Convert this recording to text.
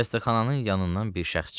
Xəstəxananın yanından bir şəxs çıxdı.